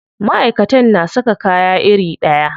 Maʼaikatan na saka kaya iri ɗaya.